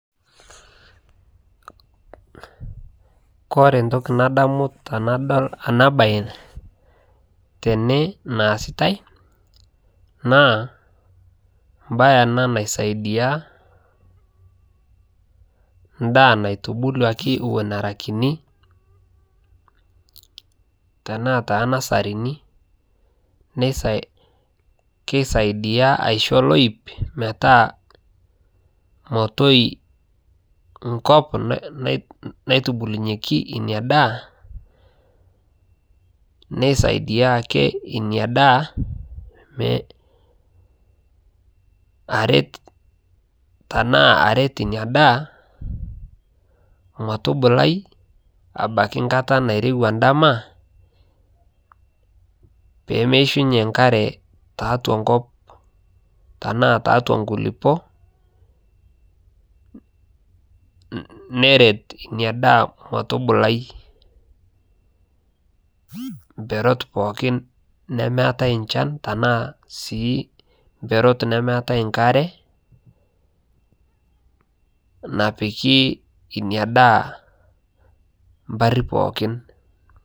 kore ntokii nadamuu tanadol anaa bai tenee naasitai naa mbai anaa naisaidia ndaa naitubuluakii ewon eraa kinii tanaa te nasarinii keisaidia aishoo loip metaa motoi nkop naitubulunyekii inia daa neisaidia akee inia daa aret tanaa aret inia daa motubulai abakii nkataa nairewaa ndamaa pemeishunyee nkaree taatua nkop tanaa taaatua nkulipoo neret inia daa motubulai mperot pookin nemeatai nchan tanaa sii mperot nemeatai nkaree napikii inia daah mparii pookin